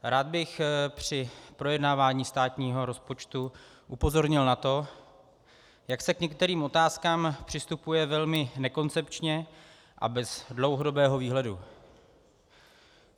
Rád bych při projednávání státního rozpočtu upozornil na to, jak se k některým otázkám přistupuje velmi nekoncepčně a bez dlouhodobého výhledu.